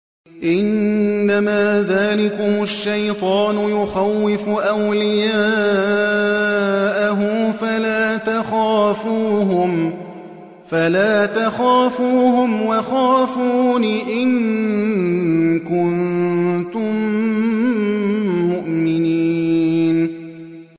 إِنَّمَا ذَٰلِكُمُ الشَّيْطَانُ يُخَوِّفُ أَوْلِيَاءَهُ فَلَا تَخَافُوهُمْ وَخَافُونِ إِن كُنتُم مُّؤْمِنِينَ